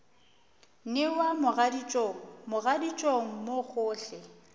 newa mogaditšong mogaditšong mo gohle